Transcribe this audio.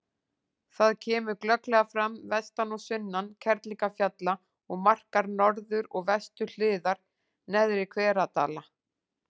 Það kemur glögglega fram vestan og sunnan Kerlingarfjalla og markar norður- og vesturhliðar Neðri-Hveradala.